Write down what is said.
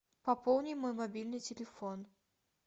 пополни мой мобильный телефон